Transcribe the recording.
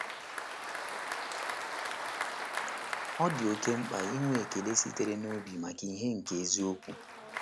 Ọ dị oké mkpa inwe ekele sitere n’obi maka ìhè nke eziokwu.